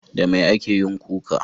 Da mai ake yin kuka?